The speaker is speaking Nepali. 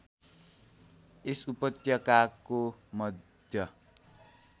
यस उपत्यकाको मध्य